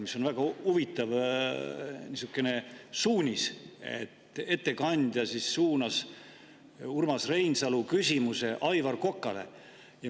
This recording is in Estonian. See on väga huvitav suunis, et ettekandja suunab Urmas Reinsalu küsimuse Aivar Kokale.